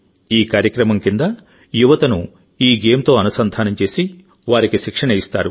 ఈ కార్యక్రమం కింద యువతను ఈ గేమ్తో అనుసంధానం చేసి వారికి శిక్షణ ఇస్తారు